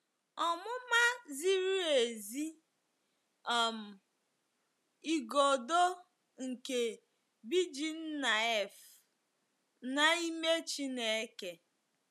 Ọmụma ziri ezi um - Igodo nke BJidennaef n'ime Chineke.